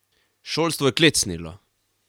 Šolstvo je klecnilo!